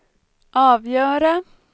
avgöra